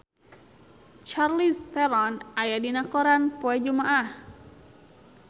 Charlize Theron aya dina koran poe Jumaah